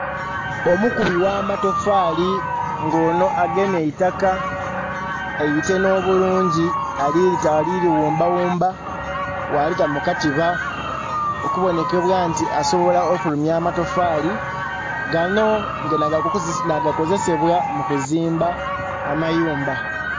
Omukubi ghamatofali ng'onho agemye eitaka eitenhe obulungi ali lighumba ghumba ghalita mukatiba okubonekebwa nti asobola okufulumya amatofali, gano nagakozesebwa mukuzimba amyumba.